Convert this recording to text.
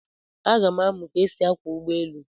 M ga-amụ ka esi akwọ ụgbọ elu.